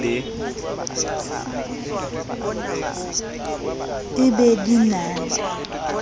e be di na le